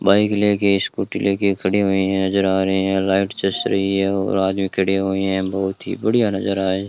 bike लेके scooty लेके खड़ी हुई हैं नजर आ रहे हैं राइट जच रही है और आदमी खड़े हुए हैं बहुत ही बढ़िया नजर आए--